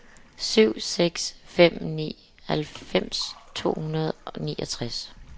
syv seks fem ni halvfems to hundrede og niogtres